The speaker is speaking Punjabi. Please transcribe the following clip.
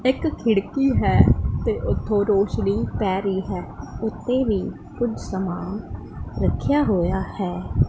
ਇਕ ਖਿੜਕੀ ਹੈ ਤੇ ਉਥੋਂ ਰੋਸ਼ਨੀ ਪੈ ਰਹੀ ਹੈ ਉਥੇ ਵੀ ਕੁਝ ਸਮਾਨ ਰੱਖਿਆ ਹੋਇਆ ਹੈ।